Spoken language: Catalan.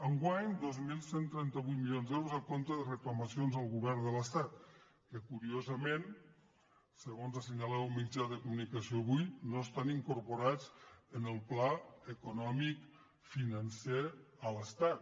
enguany dos mil cent i trenta vuit mili·ons d’euros a compte de reclamacions al govern de l’estat que curiosament segons assenyalava un mit·jà de comunicació avui no estan incorporats en el pla econòmic financer a l’estat